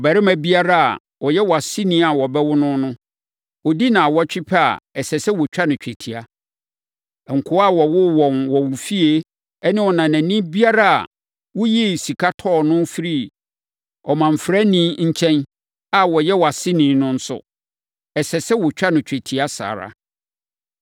Ɔbarima biara a ɔyɛ wʼaseni a wɔbɛwo no no, ɔdi nnawɔtwe pɛ a, ɛsɛ sɛ wɔtwa no twetia. Nkoa a wɔwoo wɔn wɔ wo fie ne ɔnanani biara a woyii sika tɔɔ no firii ɔmamfrani nkyɛn a ɔnyɛ wʼaseni no nso, ɛsɛ sɛ wɔtwa no twetia saa ara.